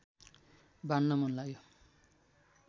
बाँड्न मन लाग्यो